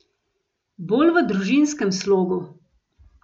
Bolj v družinskem slogu.